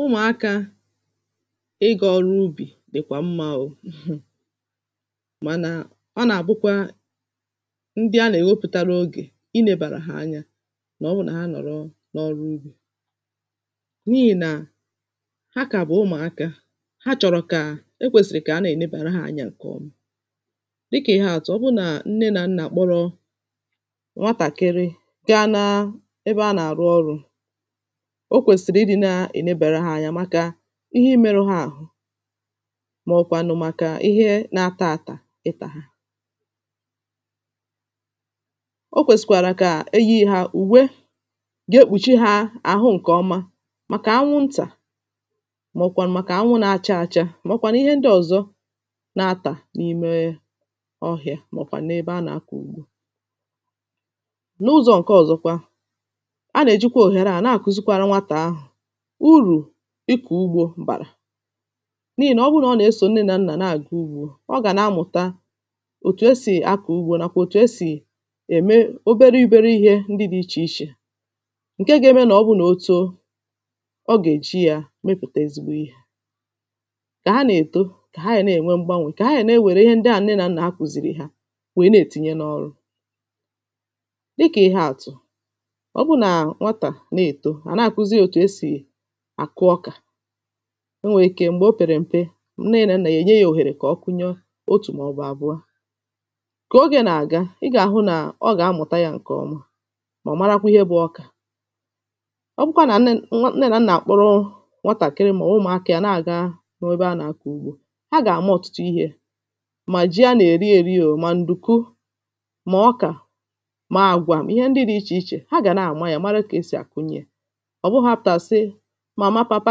Ụmụ̀akā Ị ga ọrụ ubì dị̀kwà mmā o[um], mànà ọ nà àbụkwa ndị a nà èwepùtaro ogè ị nebàrà hā anya mà ọ bụ nà hā nọ̀rọ n’ọrụ ugbō n’ihì nà ha kà bụ̀ ụmụ̀akā ha chọ̀rọ̀ kà e kwèsìrì kà a nà ènebàra ha anya ǹkè ọma dịkà ihe àtụ ọ bụ nà nne nà nnà kpọ̀rọ nwatàkịrị ga nā ebe a nà àrụ ọrụ̄ o kwèsiri ị dị̄ nà ènebàra hā anya màkà ihe ị meru hā àrụ, mà ọ̀ kwànụ̀ màkà ihe nà atà àtà ịtà hā ọ kwẹ̀sị̀ kwàrà kà e yi hā ùwe ga ekpụ̀chị hā àhụ ǹkẹ ọma màkà anwụ ntà mà ọ̀ kwànụ̀ màkà anwụ nā-acha acha, mà ọ kwànụ̀ ihe ndị ọ̀zọ na atà n’ime ọhịā mà ọ̀ kwànụ̀ n’ebe a nà-akọ̀ ugbō. n’ụzọ̀ ǹkẹ ọ̀zọkwa a nà èjikwa òhèrè a nà-àkuzikwara nwatà ahụ̀ urù ịkọ̀ ugbō bàrà n’ihi nà ọbụ nà ọ nà esò nne nà nnà nà-àga ugbō ọ gà nā mụ̀ta otù esì akọ̀ ugbō nàkwà otù esì ème obere obere ihē ndị dị ichè ichè ǹke gā ẹmẹ nà ọ bụ nà o too ọ gà èji yā mẹpụ̀ta ezigbo ihē. kà hā nà èto kà hā gà nā ẹ̀nwẹ mgbanwẹ̀ kà hā gà nā ewère ihe ndị ahụ̀ nne nà nna kùzìrì hā wee nà ètinye n’ọrụ. dị kà ihe àtụ ọ bụ nà nwatà nà-èto à nà àkuzi yā òtu esì àkụ ọkà o nwè ike m̀gbè o pèrè m̀pe nne nà nnà yā ẹ̀nye yā òhèrè kà ọ kụnyẹ otù mà ọ̀ bụ̀ àbụ̀ọ kà ogē nà àga ị gà àhụ nà ọ gà amụ̀ta yā ǹkẹ̀ ọma mà marakwa ihe bu ọ bụkwa nà nnẹ nwa nnẹ nà nnà kpụrụ nwatàkịrị mà ọ̀ ụmụ̀akā yā nà àga ruo ebe a nà-akọ̀ ugbō ha gà àma ọ̀tụtụ ihē mà jị a nà èri eri o, mà ndùku, mà ọkà, mà agwà ihe ndị dī ichè ichè ha gà na ma yā mara kà esì a kunye yā ọ̀ bụhọ̄ a pụ̀ta àsị màmà pàpa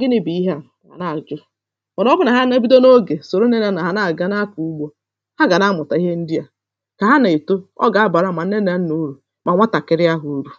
gịnị̄ bụ̀ ihe à hà nà àjụ mà nà ọ bụ nà hā nā ebido n’ogè sòro nnẹ nà nnà hā nà àga na-akọ̀ ugbō ha g̀à nā-amụ̀ta ihe ndị à kà ha nà èto ọ gà abàra mà nne nà nnà urù mà nwatàkịrị ahụ̀ urù.